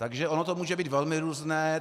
Takže ono to může být velmi různé.